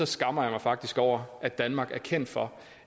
skammer jeg mig faktisk over at danmark er kendt for